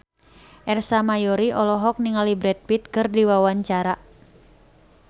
Ersa Mayori olohok ningali Brad Pitt keur diwawancara